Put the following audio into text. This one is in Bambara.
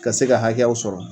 Ka se ka hakɛyaw sɔrɔ